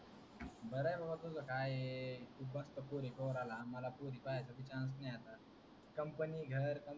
बर आहे बाबा तुझ काय आहे. तू मस्त पोरी पाहून राहल्या, मला पोरी पाहायच्य chance भी नाही आला company घर company.